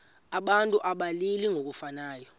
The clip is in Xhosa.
abantu abalili ngokufanayo